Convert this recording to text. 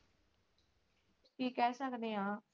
ਕੀ ਕਹਿ ਸਕਦੇ ਆ?